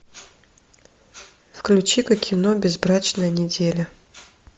включи ка кино безбрачная неделя